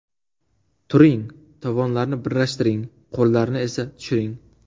Turing, tovonlarni birlashtiring, qo‘llarni esa tushiring.